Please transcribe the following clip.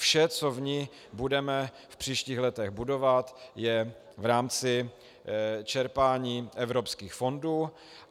Vše, co v ní budeme v příštích letech budovat, je v rámci čerpání evropských fondů.